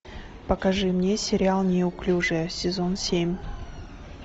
покажи мне сериал неуклюжая сезон семь